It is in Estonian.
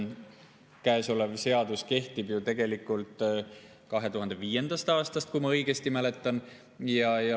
Käesolev seadus kehtib ju 2005. aastast, kui ma õigesti mäletan.